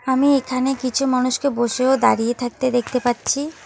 আমি এখানে কিছু মানুষকে বসে ও দাঁড়িয়ে থাকতে দেখতে পাচ্ছি।